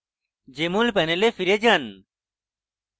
jmol panel ফিরে যান